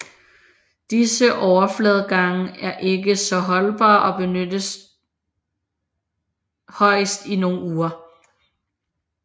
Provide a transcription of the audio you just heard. Disse overfladegange er ikke så holdbare og benyttes højst i nogle uger